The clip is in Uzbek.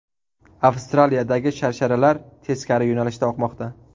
Avstraliyadagi sharsharalar teskari yo‘nalishda oqmoqda .